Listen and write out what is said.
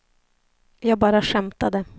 jag bara skämtade